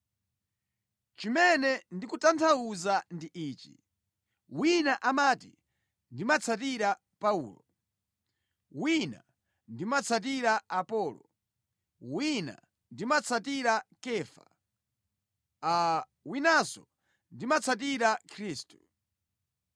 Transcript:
Chimene ndikutanthauza ndi ichi: wina amati, “Ndimatsatira Paulo,” wina, “Ndimatsatira Apolo,” wina, “Ndimatsatira Kefa,” winanso, “Ndimatsatira Khristu.”